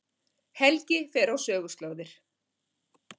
Helgi fer á söguslóðir